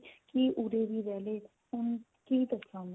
ਕਿ ਉਰੇ ਹੀ ਰਿਹ ਲੈ ਹੁਣ ਕੀ ਕਰੀਏ ਉਹਨਾ ਦਾ